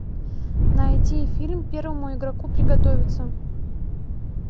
найди фильм первому игроку приготовиться